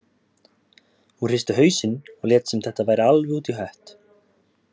Hún hristi hausinn og lét sem þetta væri alveg út í hött.